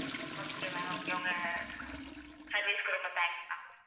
okay ma'am okay உங்க service க்கு ரொம்ப thanks ma'am